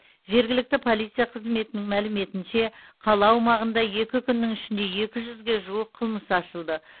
жергілікті полиция қызметінің мәліметінше қала аумағында екі күннің ішінде екі жүзге жуық қылмыс ашылды